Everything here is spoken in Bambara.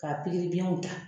Ka pikiribiɲɛw ta.